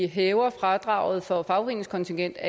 hæver fradraget for fagforeningskontingentet